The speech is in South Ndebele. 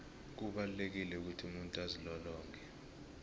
kubalulekile ukuthi umuntu azilolonge